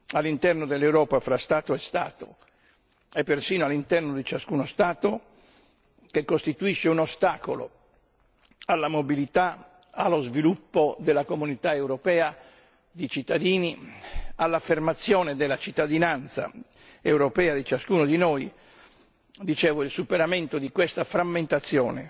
all'interno dell'Europa fra Stato e Stato e persino all'interno di ciascuno Stato che costituisce un ostacolo alla mobilità, allo sviluppo della Comunità europea di cittadini, all'affermazione della cittadinanza europea di ciascuno di noi il superamento di questa frammentazione